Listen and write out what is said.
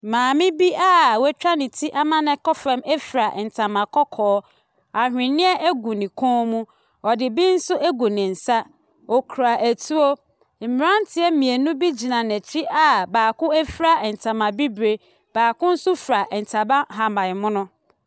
Maame bi a watwa ne ti ama nakɔ fam fura ntama kɔkɔɔ, aweneɛ gu ne kɔn mu, ɔde bi agu ne nsa, okura atuo. Mmeranteɛ mmienu bi gyina n’akyi a baako fura ntama bibire, bi nso fura ntama ahabanmono.